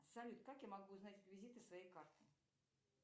салют как я могу узнать реквизиты своей карты